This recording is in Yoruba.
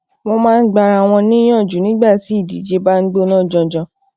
wón maa n gba ara won niyanju nígbà tí idije ba gbona janjan